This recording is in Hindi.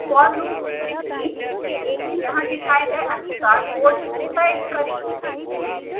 for loop लिखें यहाँ दिखाए गए अनुसार कोड टाइप करें